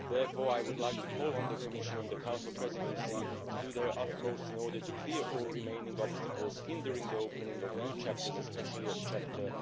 Therefore, I would like to call on the Commission and the Council Presidency to do their utmost in order to clear all remaining obstacles hindering the opening of new chapters, especially Chapter